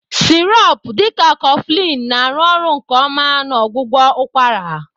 Sirop dị ka Coflin na-arụ ọrụ nke ọma na ọgwụgwọ ụkwara.